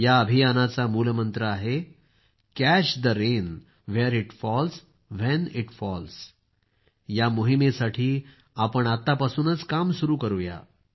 या अभियानाचा मूलमंत्र आहे catch the rain where it falls when it falls या मोहिमेसाठी आपण आत्तापासूनच काम सुरू करूया